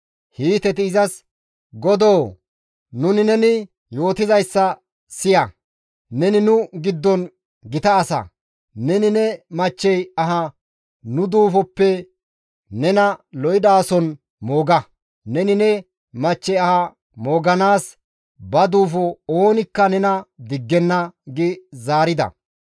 Hiiteti izas, «Godoo! Nuni nena yootizayssa siya; neni nu giddon gita asa; neni ne machchey aha nu duufoppe nena lo7idaason mooga; neni ne machchey aha mooganaas ba duufo oonikka nena diggenna» gi zaarida.